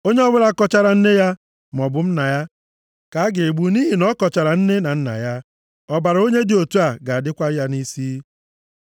“ ‘Onye ọbụla kọchara nne ya maọbụ nna ya ka a ga-egbu nʼihi na ọ kọchara nne na nna ya. Ọbara onye dị otu a ga-adịkwa ya nʼisi.